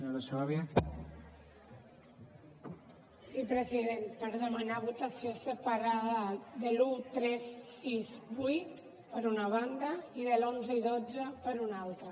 sí president per demanar votació separada de l’un tres sis vuit per una banda i de l’onze i dotze per una altra